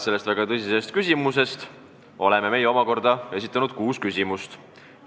Selle väga tõsise küsimuse pärast oleme meie omakorda esitanud kuus küsimust.